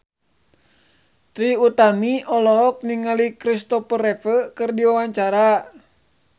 Trie Utami olohok ningali Kristopher Reeve keur diwawancara